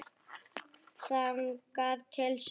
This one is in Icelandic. Þangað til seinna.